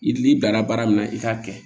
I n'i danna baara min na i k'a kɛ